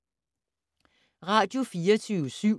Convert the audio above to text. Radio24syv